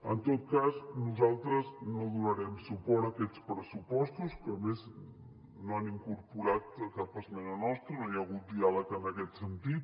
en tot cas nosaltres no donarem suport a aquests pressupostos que a més no han incorporat cap esmena nostra no hi ha hagut diàleg en aquest sentit